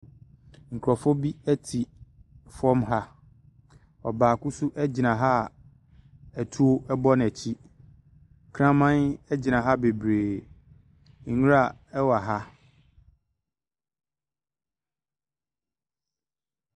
Nkurɔfoɔ bi te fam ha. Ɔbaako nso gyina ha a tuo bɔ n'akyi. Kraman gyina ha bebree. Nwira wɔ ha.